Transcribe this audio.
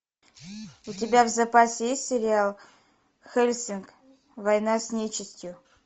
у тебя в запасе есть сериал хеллсинг война с нечистью